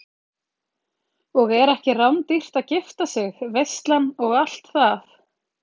Og er ekki rándýrt að gifta sig, veislan og allt það?